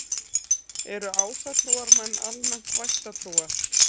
Eru ásatrúarmenn almennt vættatrúar?